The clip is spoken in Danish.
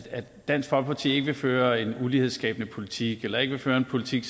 dansk folkeparti ikke vil føre en ulighedsskabende politik eller ikke vil føre en politik